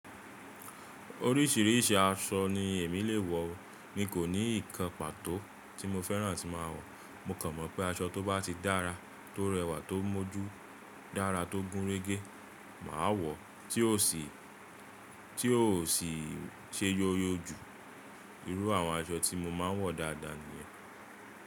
Oríṣìíríṣìí aṣọ ni èmi lè wọ̀, mi kò ní nǹkan pàtó tí mo fẹ́ràn tí máa wọ̀. Mo kàn mọ̀ pé aṣọ tó bá ti dára, tó rẹwà, tó mọ́jú dára, tó gúnrégé máa wọ̀ tí ó sì ṣe yóyó jù. Irú àwọn aṣọ tí mo máa ń wọ̀ dáadáa nìyẹn.